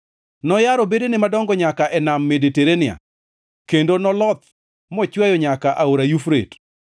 Noyaro bedene madongo nyaka e Nam Mediterania kendo noloth mochweyo nyaka e Aora Yufrate.